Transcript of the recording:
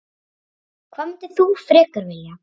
Hvað myndir þú frekar vilja?